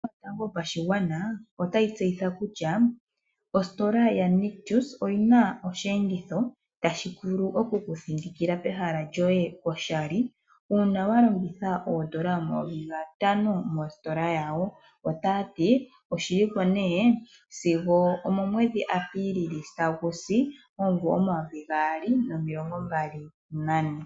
Ombaanga Yotango Yopashigwana otayi tseyitha kutya ositola yaNictus oyi na osheenditho tashi vulu oku ku thindikila pehala lyoye oshali uuna wa longitha ooN$ 5000 mositola yawo. Oshi li ko sigo okomusilo gomwedhi Apilili 2024.